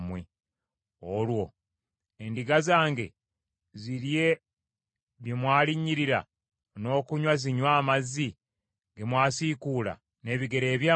Olwo endiga zange zirye bye mwalinnyirira n’okunywa zinywe amazzi ge mwasiikuula n’ebigere byammwe?